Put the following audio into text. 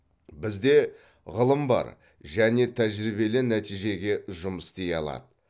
бізде ғылым бар және тәжірибелі нәтижеге жұмыс істей алады